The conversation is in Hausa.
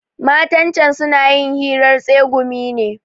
Matan can suna yin hirar tsegumi ne.